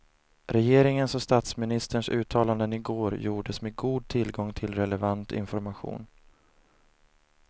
Regeringens och statsministerns uttalanden i går gjordes med god tillgång till relevant information.